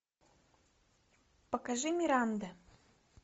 покажи миранда